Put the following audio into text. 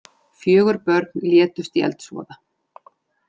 Fjögur börn létust í eldsvoða